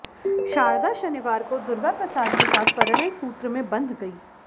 शारदा शनिवार को दुर्गाप्रसाद के साथ परिणय सूत्र में बंध गई